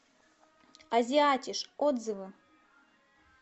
азиатиш отзывы